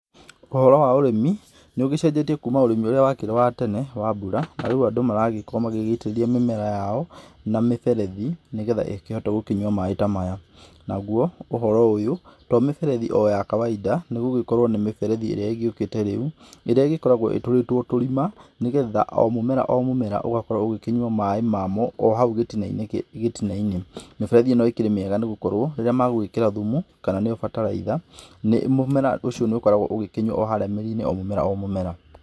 Ũhoro wa ũrĩmi nĩ ũgĩcenjetie kuuma ũrĩmi urĩa wakĩrĩ wa tene wa mbura, na rĩu andũ marakorwo magĩitĩrĩria mĩmera yao na mĩberethi nĩgetha igĩkĩhote gũkĩnywa maaĩ ta maya. Naguo ũhoro ũyũ to mĩberethi o ya kawaida nĩgũgĩkorwo nĩ mĩberethi ĩrĩa ĩgĩũkĩte rĩu ĩrĩa ĩgĩkoragwo ĩtũrĩtwo tũrima, nĩgetha o mũmera o mũmera ugakorwo ũgĩkĩnyua maaĩ mamo o hau gĩtina-inĩ. Mĩberethi ĩno ĩkĩrĩ mĩega nĩgũkorwo, rĩrĩa megũgĩkĩra thumu kana nĩo bataraitha mũmera ũcio nĩũkoragwo ũgĩkĩnyũa o harĩa mĩri-inĩ o mũmera o mũmera.